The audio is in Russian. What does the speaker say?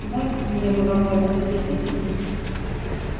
нравится мне бывать в этом кабинете